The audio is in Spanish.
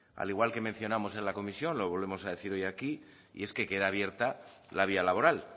al igual que mencionamos en la comisión lo volvemos a decir hoy aquí es que queda abierta la vía laboral